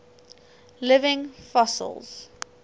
living fossils